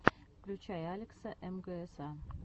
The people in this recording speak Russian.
включай алекса мгса